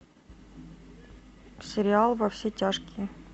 сериал во все тяжкие